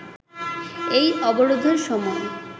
এই অবরোধের সময়